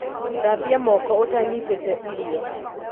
Thambia moko ũtanyitĩte irio